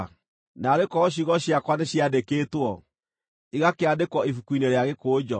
“Naarĩ korwo ciugo ciakwa nĩciandĩkĩtwo, igakĩandĩkwo ibuku-inĩ rĩa gĩkũnjo,